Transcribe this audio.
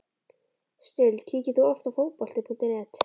snilld Kíkir þú oft á Fótbolti.net?